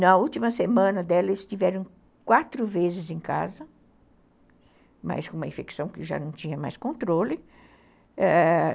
Na última semana dela, eles estiveram quatro vezes em casa, mas com uma infecção que já não tinha mais controle, ãh